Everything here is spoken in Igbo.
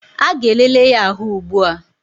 A ga-elele ya ahụ ugbua